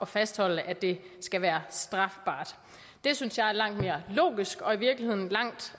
fastholde at det skal være strafbart det synes jeg er langt mere logisk og i virkeligheden langt